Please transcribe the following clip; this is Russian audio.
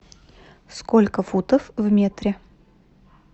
сколько футов в метре